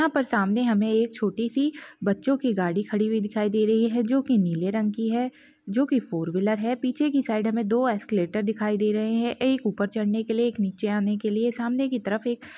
यहाँ पर हमे एक छोटी सी बच्चों की गाड़ी खड़ी हुई दिखाई दे रही है जो की नीली रंग की है जो की फोरवहीलर है पीछे के साइड दो ऐक्सेलरैटर दिखाई दे रहे है एक ऊपर चड़ने के लिए एक नीचे आने के लिए सामने की तरफ एक--